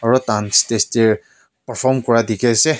aru tai kan stage dey perform kura dikhi ase.